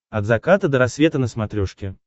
от заката до рассвета на смотрешке